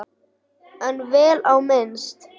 En vel á minnst.